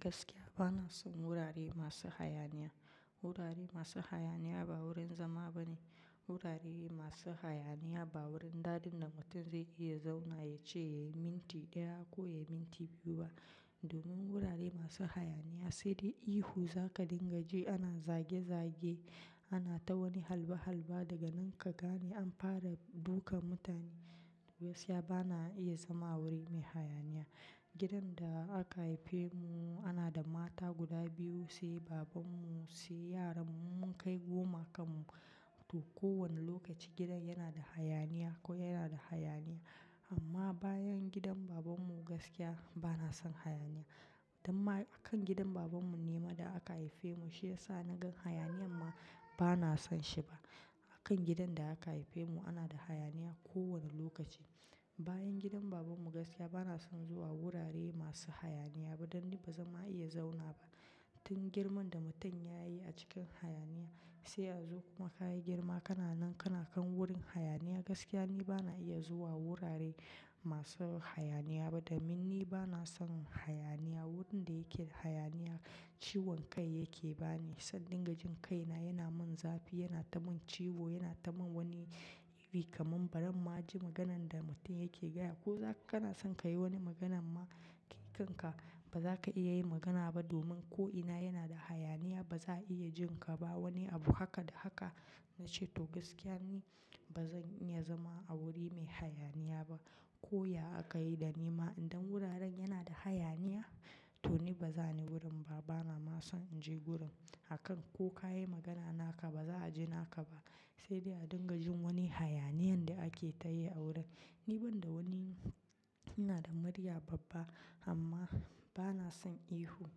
Gaskiya bana son wurare masu hayaniya. Wurare masu hayaniya ba wurin zama ba ne. Wurare masu hayaniya ba wurin da dadin da mutum zai iya zauna yace ya yai minti ɗaya ko ya yi minti biyu ba. Domin wurare masu hayaniya sai dai ihu, za ka dinga ji ana zage zage, ana ta wani halba halba daga nan ka gane an fara dukan mutane. Gaskiya bana iya zama a wuri mai hayaniya. Gidan da aka haife mu ana da mata guda biyu, sai babanmu, sai yaran mu mun kai goma kanmu. To kowane lokaci gidan yana da hayaniya ko yana da hayaniya. Amma bayan gidan babanmu gaskiya bana son hayaniya. Dan ma akan gidan babanmu ne ma da aka haife mu, shi ya sa na gan hayaniya amma bana son shi ba. Akan gidan da aka haife mu ana da hayaniya kowane lokaci. Bayan gidan babanmu gaskiya bana son zuwa wurare masu hayaniya ba, dan dai ba zan ma iya zauna ba. Tun girman da mutum ya yi a cikin hayaniya, sai yazo kuma ka yi girma kana nan kana kan wurin hayaniya, gaskiya ni bana iya zuwa wurare masu hayaniya ba. Domin ni bana son hayaniya, wurin da yake hayaniya ciwon kai yake ba ni. Sai dingajin kaina yana min zafi, yana ta min ciwo, yana ta min wani iri kamar baran ma ji maganan da mutum yake gaya. Ko zaka kana san ka yi wani magana ma, kai kanka ba za ka iya yi magana ba domin ko ina yana da hayaniya ba za a iya jin ka ba. Wani abu haka da haka na ce to gaskiya ni ba zan iya zama a wuri mai hayaniya ba. Ko ya aka yi da ni ma in dan wuraren yana da hayaniya to ni ba zan yi wurin ba, bana ma son in je wurin. Akan ko ka yi magana naka ba za a ji naka ba, sai dai a dingajin wani hayaniyan da ake ta yi a wurin. Ni banda wani ina da murya babba amma bana son ihu.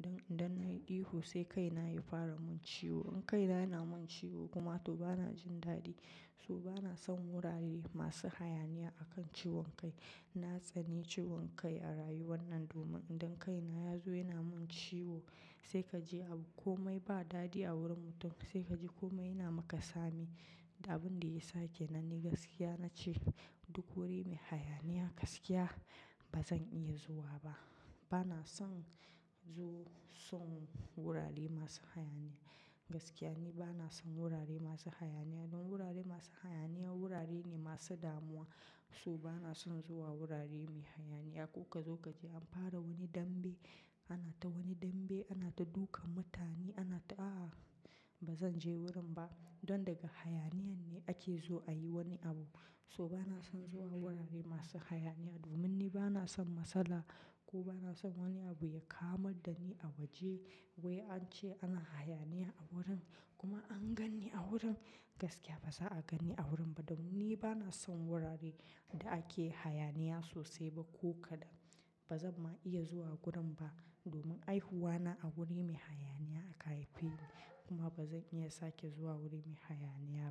Dan idan na yi ihu sai kai na ya fara mun ciwo. In kai na yana mun ciwo kuma to bana jin dadi. So bana son wurare masu hayaniya akan ciwon kai. Na tsani ciwon kai a rayuwan nan domin idan kai na ya zo yana mun ciwo, sai kaji abu komai ba dadi a wurin mutum, sai kaji komai yana maka sami. Da abin da yasa kenan ni gaskiya na ce duk wuri mai hayaniya gaskiya ba zan iya zuwa ba. Bana son zu son wurare masu hayaniya. Gaskiya ni bana son wurare masu hayaniya. Don wurare masu hayaniya wurare ne masu damuwa. So bana son zuwa wurare mai hayaniya. A kuka zo ka ji an fara wani dambe, ana ta wani dambe, ana ta dukan mutane, ana ta ah! Ba zan je wurin ba. Don daga hayaniyan ne ake zo ayi wani abu. So bana son zuwa wurare masu hayaniya domin ni bana son matsala ko bana son wani abu ya kamar dani a waje. Wai an ce ana hayaniya a wurin kuma an gan ni a wurin. Gaskiya ba za a gan ni a wurin ba domin ni bana son wurare da ake hayaniya sosai ba ko kada. Ba zan ma iya zuwa wurin ba domin haihuwa na a wuri mai hayaniya aka haife ni. Kuma ba zan iya sake zuwa wuri mai hayaniya ba.